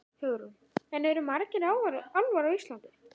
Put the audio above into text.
Hugrún: En eru margir álfar á Íslandi?